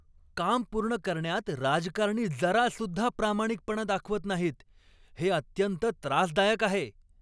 काम पूर्ण करण्यात राजकारणी जरासुद्धा प्रामाणिकपणा दाखवत नाहीत, हे अत्यंत त्रासदायक आहे.